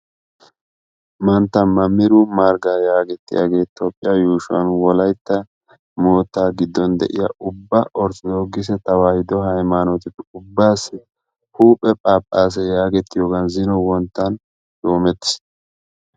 mantta maamiru margga yaagettiyaagee toophphiyaa yuushshuwan wolaytta moottaa giddon de'iyaa ubba orttodookisee haymaanote ubbaasi huuphphe phaaphphase yaagettiyoogan zino wonttn shuumettiis.